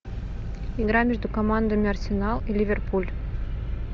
игра между командами арсенал и ливерпуль